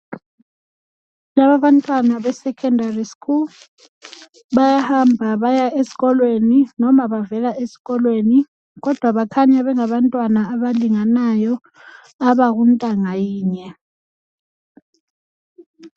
Laba abantwana be Secondary school bayahamba baya esikolweni noma bavela esikolweni kodwa bakhanya bengabantwana abalinganayo abangabakuntangayinye